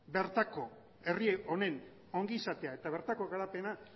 bertako herri honen ongizatea eta bertako garapena